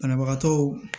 Banabagatɔw